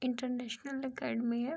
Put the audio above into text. International academy है।